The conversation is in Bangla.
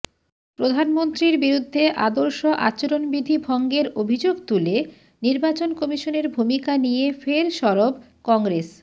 প্রধানমন্ত্রীর বিরুদ্ধে আদর্শ আচরণবিধি ভঙ্গের অভিযোগ তুলে নির্বাচন কমিশনের ভূমিকা নিয়ে ফের সরব কংগ্রেস